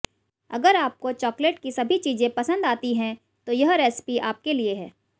अगर आपको चॉकलेट की सभी चीजें पसंद आती हैं तो यह रेसिपी आपके लिए है